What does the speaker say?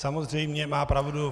Samozřejmě má pravdu.